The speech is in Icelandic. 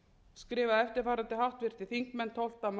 skrifa eftirfarandi háttvirtir þingmenn tólfta mars tvö þúsund og